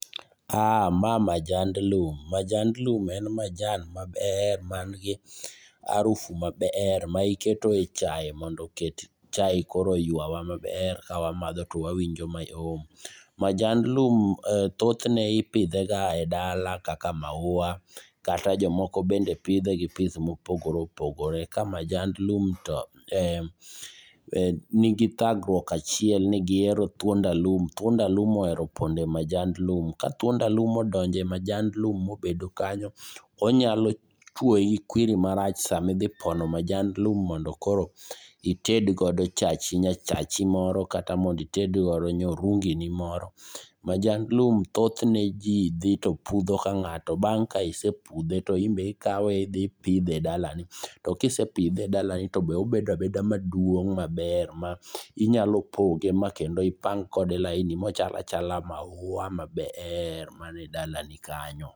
Ma majand lum, majand lum en majan maber manigi arufu maber maiketo e chai mondo oket chai koro yuawa maber, kawamadho to wawinjo mayom. Majand lum thothne ipidhega e dala kaka maua, kata jomoko bende pidhe gi pidh mopogore opogore. Ka majand lum to nigi dhagruok achiel ni gihero thuond alum. Thuond alum ohero pondo e majand lum. Ka thuond alum odonjo e majand lum mobedo kanyo, onyalo chuoi kwiri marach sama idhi pono majand lum mondo koro itedgodo chachi, nyachachi moro kata mondo itedgodo nyorungini moro. Majand lum, thothne ji dhi to pudho ka ng'ato, bang' ka isepudhe to imbe ikawe idhi ipidhe e dalani. To kisipidhe e dalani tobe obeda beda maduong' maber, ma inyalo poge makendo ipang kode laini mochala chala maua maber mana e dalani kanyo.